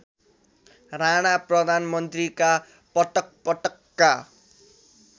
राणा प्रधानमन्त्रीका पटकपटकका